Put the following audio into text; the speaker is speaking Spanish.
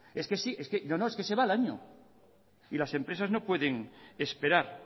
es que se va el año y las empresas no pueden esperar